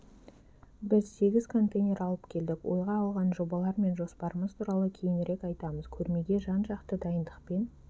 біз сегіз контейнер алып келдік ойға алған жобалар мен жоспарымыз туралы кейінірек айтамыз көрмеге жан-жақты дайындықпен